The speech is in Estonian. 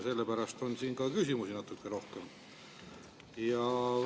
Sellepärast on ka küsimusi natuke rohkem.